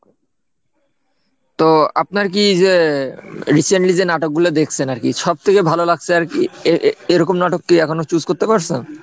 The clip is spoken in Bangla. তো আপনার কি যে recently যে নাটক গুলো দেখছেন আর কি সব থেকে ভালো লাগছে আর কি এ~এরকম নাটক কি এখনো choose করতে পারছেন?